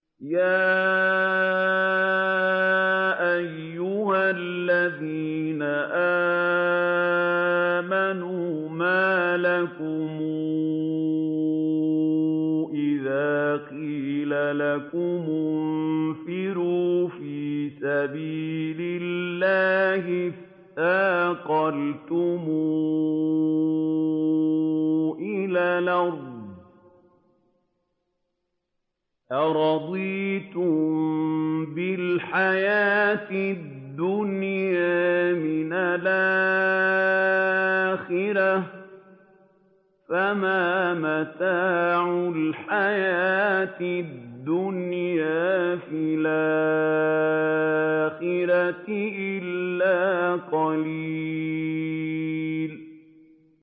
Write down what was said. يَا أَيُّهَا الَّذِينَ آمَنُوا مَا لَكُمْ إِذَا قِيلَ لَكُمُ انفِرُوا فِي سَبِيلِ اللَّهِ اثَّاقَلْتُمْ إِلَى الْأَرْضِ ۚ أَرَضِيتُم بِالْحَيَاةِ الدُّنْيَا مِنَ الْآخِرَةِ ۚ فَمَا مَتَاعُ الْحَيَاةِ الدُّنْيَا فِي الْآخِرَةِ إِلَّا قَلِيلٌ